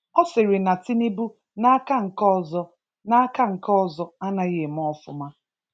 Ọ sịrị na Tinubu n’aka nke ọzọ n’aka nke ọzọ anaghi eme ofụma